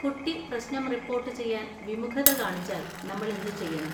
കുട്ടി പ്രശ്നം റിപ്പോർട്ട് ചെയ്യാൻ വിമുഖത കാണിച്ചാൽ നമ്മൾ എന്തുചെയ്യണം?